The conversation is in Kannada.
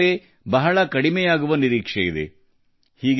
ಈ ಮೂಲಕ ಬಾಹ್ಯಾಕಾಶಕ್ಕೆ ಉಡಾವಣೆಯ ವೆಚ್ಚ ಗಣನೀಯವಾಗಿ ಕಡಿಮೆಯಾಗಲಿದೆ ಎಂದು ಅಂದಾಜಿಸಲಾಗಿದೆ